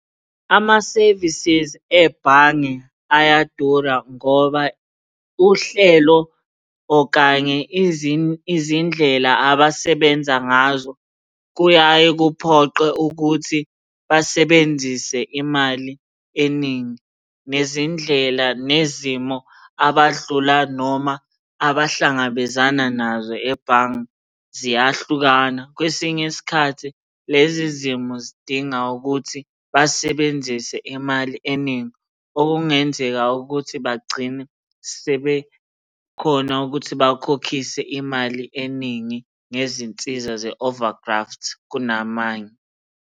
Ama-services ebhange ayadura ngoba uhlelo okanye izindlela abasebenza ngazo, kuyaye kuphoqe ukuthi basebenzise imali eningi. Nezindlela nezimo abadlula noma abahlangabezana nazo ebhange ziyahlukana. Kwesinye isikhathi lezi zimo zidinga ukuthi basebenzise imali eningi. Okungenzeka ukuthi bagcine sebekhona ukuthi bakhokhise imali eningi ngezinsiza ze-over graft kunamanye.